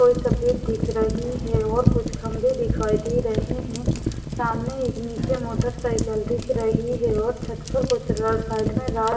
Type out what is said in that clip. कोई सफेद दिख रही है और कुछ खंबे दिखाई दे रहे हैं सामने एक नीचे मोटरसाइकिल दिख रही है और छत पर कुछ साइड में रख--